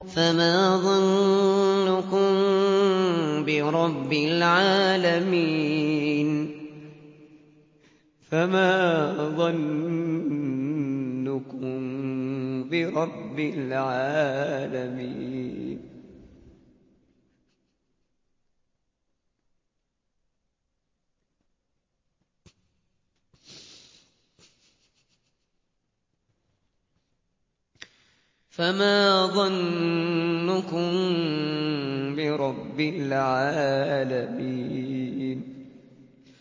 فَمَا ظَنُّكُم بِرَبِّ الْعَالَمِينَ